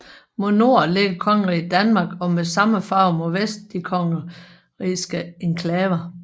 Mod nord ligger Kongeriget Danmark og med samme farve mod vest de Kongerigske enklaver